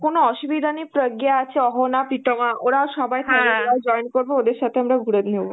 কোন অসুবিধা নেই, প্রজ্ঞা আছে, অহনা, প্রিতোমা ওরাও সবাই join করবে, ওদের সাথে আমরা ঘুরে নেব.